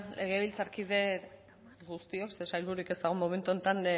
legebiltzarkide guztiok ze sailbururik ez dago momentu honetan